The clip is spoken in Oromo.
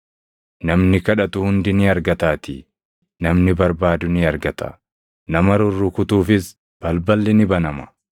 Namni kadhatu hundi ni argataatii; namni barbaadu ni argata; nama rurrukutuufis balballi ni banama.